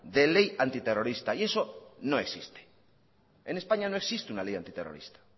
de ley antiterrorista y eso no existe en españa no existe una ley antiterrorista